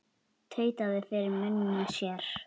Tautaði fyrir munni sér.